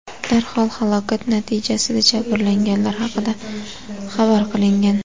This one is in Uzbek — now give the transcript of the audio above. Darhol halokat natijasida jabrlanganlar haqida xabar qilingan.